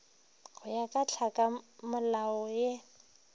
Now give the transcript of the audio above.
go ya ka tlhakamolao ye